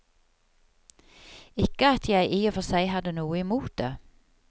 Ikke at jeg i og for seg hadde noe imot det.